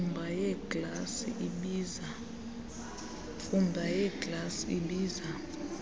mfumba yeeglasi ibiza